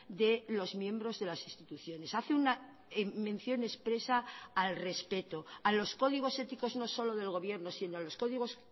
de los miembros de las instituciones hace una mención expresa al respeto a los códigos éticos no solo del gobierno sino a los códigos